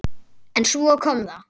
En svo kom það.